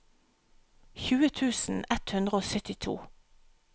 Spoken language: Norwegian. tjue tusen ett hundre og syttito